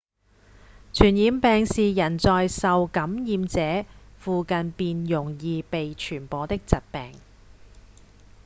傳染病是人在受感染者附近便容易被傳播的疾病